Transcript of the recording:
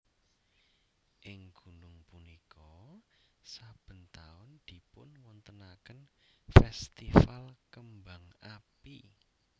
Ing gunung punika saben taun dipunwontenaken festival kembang api